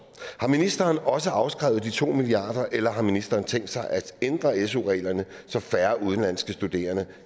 har ministeren også afskrevet de to milliard kr eller har ministeren tænkt sig at ændre su reglerne så færre udenlandske studerende